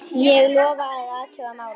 Ég lofa að athuga málið.